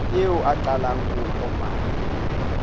eo a qalang ho kopana